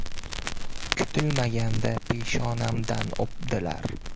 Kutilmaganda peshonamdan o‘pdilar.